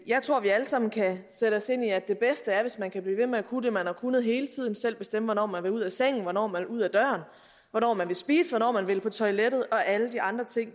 jeg tror vi alle sammen kan sætte os ind i at det bedste er hvis man kan blive ved med at kunne det man har kunnet hele tiden altså selv bestemme hvornår man vil ud af sengen hvornår man vil ud af døren hvornår man vil spise hvornår man vil på toilettet og alle de andre ting